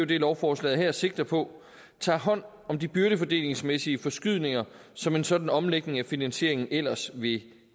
det lovforslaget her sigter på tager hånd om de byrdefordelingsmæssige forskydninger som en sådan omlægning af finansieringen ellers ville